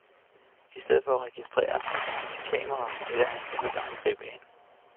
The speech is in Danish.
I stedet for at registrere med sit kamera, vælger han denne gang at gribe ind.